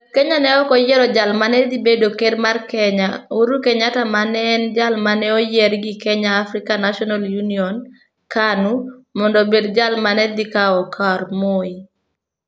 Jo Kenya ne ok oyiero jal ma ne dhi bedo ker mar Kenya, Uhuru Kenyatta, ma ne en jal ma ne oyier gi Kenya African National Union (KANU), mondo obed jal ma ne dhi kawo kar Moi.